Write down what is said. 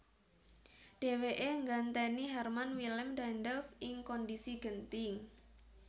Dhèwèké nggantèni Herman Willem Daendels ing kondhisi genting